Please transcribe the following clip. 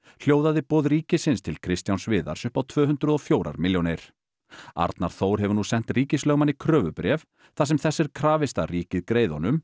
hljóðaði boð ríkisins til Kristjáns Viðars upp á tvö hundruð og fjögur milljónir arnar Þór hefur nú sent ríkislögmanni kröfubréf þar sem þess er krafist að ríkið greiði honum